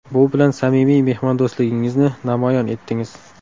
Bu bilan samimiy mehmondo‘stligingizni namoyon etdingiz.